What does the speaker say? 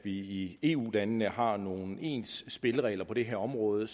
vi i eu landene har nogle ens spilleregler på det her område